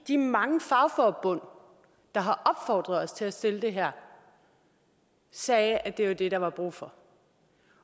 de mange fagforbund der har opfordret os til at stille det her sagde at det var det der var brug for